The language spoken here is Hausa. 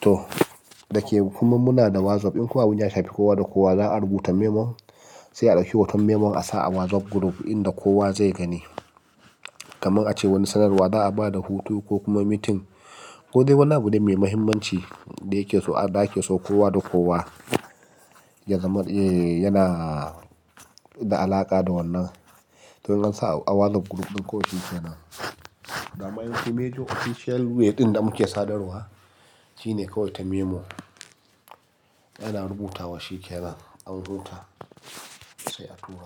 To, da ke kuma muna da WhatsApp ɗin kuwa wani ya shafi kowa da kowa za a rubuta memon, sai a ɗauki hoton memon a sa a WhatsApp group ɗin da kowa zai gani. Kaman ace wani sanarwa za a ba da hutu ko kuma meeting, ko dai wani abu dai mai muhimmanci da yake so a da ake so kowa da kowa yana da alaƙa da wannan. To yanzu a WhatsApp group ɗin kowa yake nan. Da ma'aunin email official way ɗin da muke sadarwa shine kawai ta memo. Ana rubutawa shi ke nan an rubuta sai a tura.